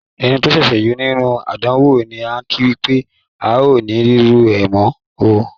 Ẹni tó ṣẹ̀ṣẹ̀ yọ nínú àdánwò ni án kí wípé "ao ni rírú ẹ̀ mọ̀ oo".